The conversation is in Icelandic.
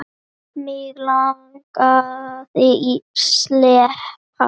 Mig langaði ekki að sleppa.